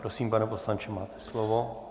Prosím, pane poslanče, máte slovo.